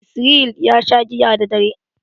Israel ya sha giya daddadare.